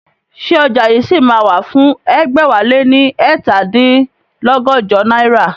Ṣé ọjà yìí ṣì máa wà fún ẹgbẹ̀wáléní ẹ̀ta dín lọ́gọ́jọ náírà?